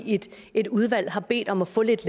et udvalg har bedt om at få lidt